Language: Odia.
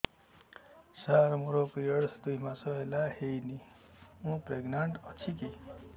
ସାର ମୋର ପିରୀଅଡ଼ସ ଦୁଇ ମାସ ହେଲା ହେଇନି ମୁ ପ୍ରେଗନାଂଟ ଅଛି କି